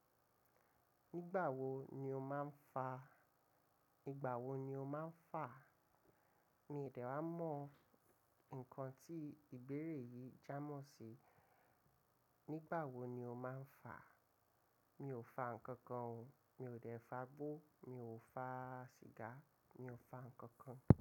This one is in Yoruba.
Nígbà wo ni o máa ń fa? Nígbà wo ni o máa ń fà? Mi de wa mọ nǹkan tí ìbéèrè yìí jámọ̀ ṣe. Nígbà wo ni o máa ń fà? Mi ò fa ǹkankan o. Mi ò dẹ̀ fa gbọ́, mi ò fa sìgá, mi ò fa ǹkankan.